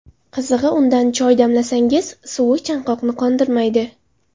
Qizig‘i, undan choy damlamasangiz, suvi chanqoqni qondirmaydi.